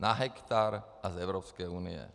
Na hektar a z Evropské unie.